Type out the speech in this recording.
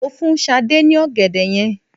Mo fún Sade ní ọ̀gẹ̀dẹ̀ yẹn